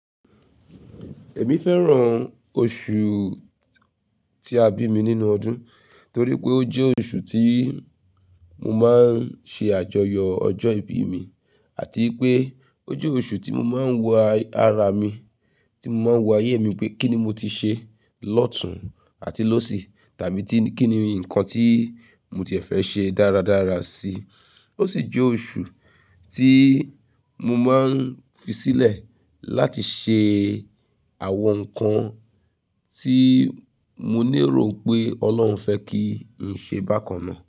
Èmi fẹ́ràn oṣù tí a bi mí nínú ọdún torí pé ó jẹ́ oṣù tí mo máa ń ṣe àjọyọ̀ ọjọ́ ìbí mi àti pé ó jẹ́ oṣù tí mo máa ń lo ara mi, tí mo máa ń wo ayé mi pé kí ni mo ti ṣe lọ́tùn àti lósì tàbí kí ni nǹkan tí mo ti fẹ́ ṣe dáradára sí. Ó sì jẹ́ oṣù tí mo máa ń fisílẹ̀ láti ṣe àwọn nǹkan tí mo ní ìró pé Ọlọ́run fẹ́ kí n ṣe bákan náà.